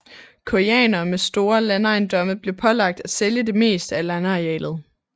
Koreanere med store landejendomme blev pålagt at sælge det meste af landarealet